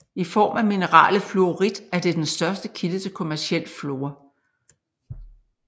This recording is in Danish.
I form af mineralet fluorit er det den største kilde til kommerciel fluor